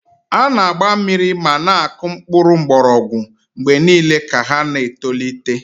A na-agba mmiri ma na-akụ mkpụrụ mgbọrọgwụ mgbe niile ka ha na-etolite.